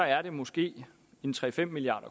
er det måske tre fem milliard